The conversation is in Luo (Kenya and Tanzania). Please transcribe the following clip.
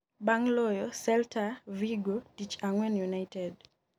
bang' loyo Celta Vigo tich ang'wen, United